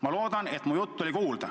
Ma loodan, et mu jutt oli kuulda.